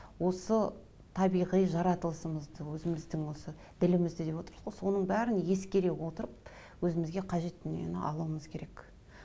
осы табиғи жаратылысымызды өзіміздің осы ділімізді деп отырсыз ғой соның бәрін ескере отырып өзімізге қажетті дүниені алуымыз керек